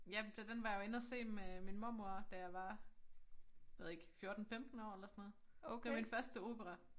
Ja til den var jeg jo inde og se med min mormor da jeg var ved ikke 14 15 år eller sådan noget det var min første opera